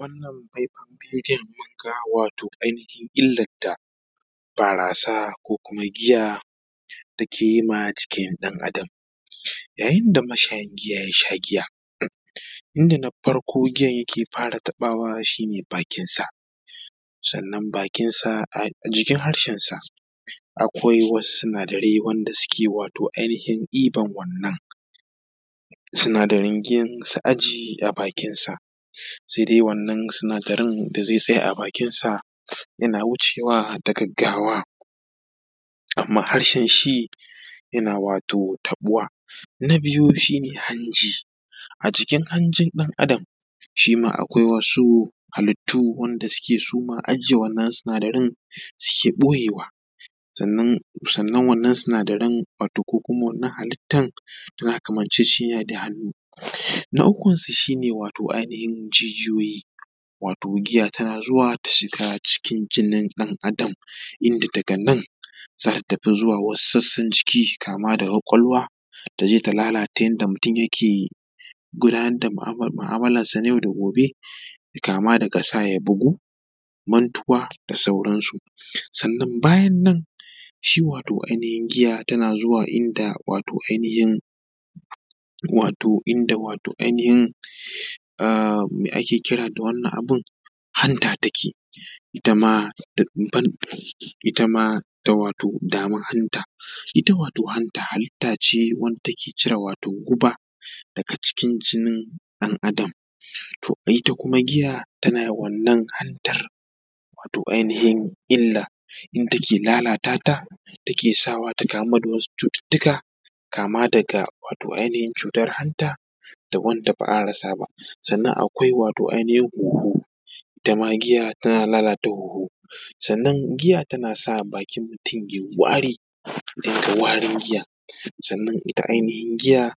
Wannan faifai bidiyon da muka ga wato ainihin illar da barasa ko kuma giya da ake yi ma jikin ɗan Adam. Yayin da mashayin giya ya sha giya inda na farko giya yake fara taɓawa shi ne bakinsa, sannan bakinsa a jikin harshensa akwai wasu sunadarai wanda suke wato ainihin ɗiban wannan sinadaran giyan su ajiye a bakinsa. Sai dai wannan sinadarin da zai tsaya a bakinsa yana wucewa da gaggawa amman harshen shi yana wato taɓuwa. Na biyu shi ne hanji. A cikin hanji shi ma akwai wasu halittu wanda suke suma aje wannan sinadaran suke ɓoyewa, sannan wannan sinadaran wato ko kuma wannan halittan yana kamanceceniya da hannu. Na uku su shi ne wato ainihin jijiyoyi. Wato giya tana zuwa ta shiga cikin jinin ɗan Adam inda daga nan za ta tafi zuwa wasu sassan jiki kama daga ƙwaƙwalwa ta je ta lalata yanda mutum yake gudunar da mu'amalansa na yau da gobe daga kama daga sa ya bugu mantuwa da sauransu. Sannan bayan nan shi wato ainihin giya tana zuwa inda wato ainihin inda mai ake kira da wannan abin hanta take ita ma dama hanta ita wato hanta halitta ce wadda take cire wato guba daga cikin jinin ɗan Adam to ita kuma giya tana wannan hantar wato ainihin illa inda take lalata ta, take sawa ta kamu da wasu cututtuka kama daga wato ainihin cutar hanta da wanda ba a rasa ba. Sannan wato akwai ainihin hunhu ita ma giya tana lalata hunhu, sannan giya tana sa bakin mutun yayi wari ya rinƙa warin giya, sannan ita ainihin giya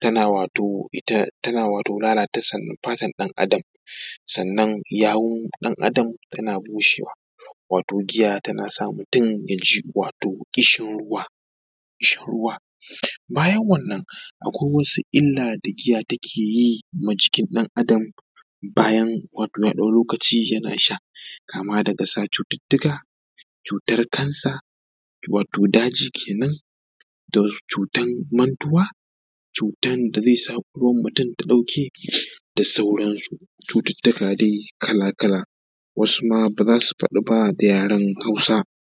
tana wato lalata fatar ɗan Adam. Sannan yawun ɗan Adam tana bushewa wato giya tana sa mutun wato ya ji ƙishin ruwa, bayan wannan akwai wasu illa da giya take yi ma jikin ɗan Adam bayan wani ɗan lokaci yana sha kama daga sa cututtuka, cutar kansa wato daji kenan, da cutan mantuwa, cutan da zai sa ƙwaƙwalwan mutun ta ɗauke da sauransu. Cututtuka dai kala kala wa suma ba za su faɗuwa da yaran hausa.